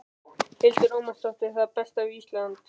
Hildur Ómarsdóttir: Það besta við Ísland?